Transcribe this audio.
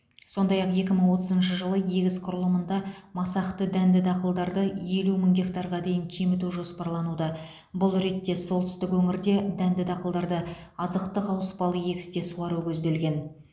сондай ақ екі мың отызыншы жылы егіс құрылымында масақты дәнді дақылдарды елу мың гектарға дейін кеміту жоспарлануда бұл ретте солтүстік өңірде дәнді дақылдарды азықтық ауыспалы егісте суару көзделген